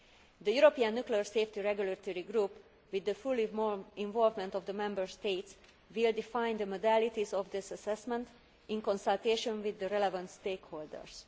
The European Nuclear Safety Regulatory Group, with the full involvement of the Member States, will define the modalities of this assessment in consultation with the relevant stakeholders.